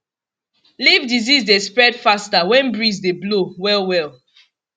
leaf disease dey spread faster when breeze dey blow well well